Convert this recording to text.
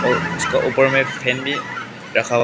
और उसका ऊपर में फैन भी रखा हुआ--